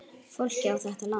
Fólkið á þetta land.